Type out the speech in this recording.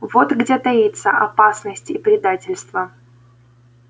вот где таится опасность и предательство